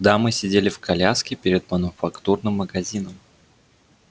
дамы сидели в коляске перед мануфактурным магазином